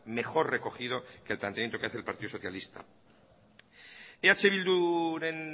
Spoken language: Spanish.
mejor recogido que el planteamiento que hace el partido socialista eh bilduren